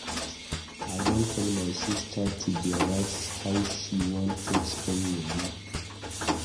I don tell my sista to dey write how she wan take spend moni.